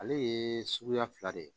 Ale ye suguya fila de ye